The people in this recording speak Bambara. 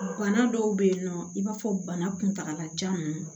Bana dɔw bɛ yen nɔ i b'a fɔ bana kuntagalajan ninnu